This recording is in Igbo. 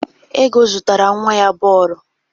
Ego zụtara nwa ya bọọlụ?